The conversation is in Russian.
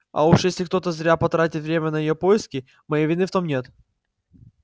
а уж если кто-то зря потратит время на её поиски моей вины в том нет